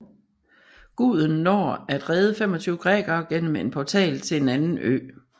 Guden når at redde 25 grækere gennem en portal til en anden ø